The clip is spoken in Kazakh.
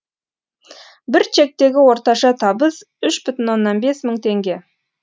бір чектегі орташа табыс үш бүтін оннан бес мың теңге